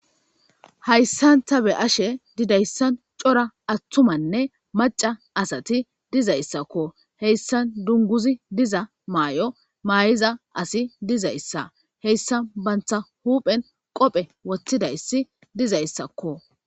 Hayssan tha be7ashee didayssan cora aththumanne macca asathi dizayssakoo; heyssan dungguzi diza maayo maayiza asi dizayssa; heyssan banththa huuphen qophe woththidayssi dizayssakkoo.